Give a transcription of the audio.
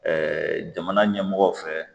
jamana ɲɛmɔgɔ fɛ